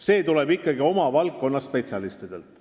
See otsus tuleb ikkagi oma valdkonna spetsialistidelt.